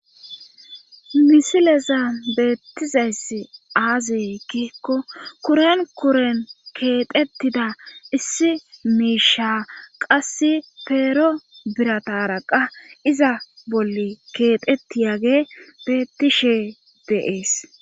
Misileza beettizayss aazikikko kuren kuren keexettida issi miisha qass peero birata araqa iza bolli keexettiyage beettishe deees